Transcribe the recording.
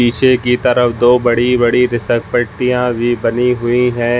इसे की तरफ दो बड़ी-बड़ी बिसरपट्टियाॅं भी बनी हुई है।